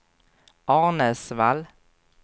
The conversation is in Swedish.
Arnäsvall